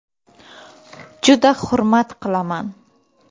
Juda hurmat qilaman.